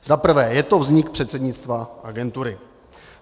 Zaprvé je to vznik předsednictva agentury.